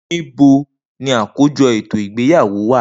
Nibo ni akojọ eto igbeyawo wa?